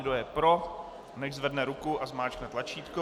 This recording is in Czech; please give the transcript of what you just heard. Kdo je pro, nechť zvedne ruku a zmáčkne tlačítko.